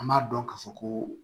An b'a dɔn ka fɔ ko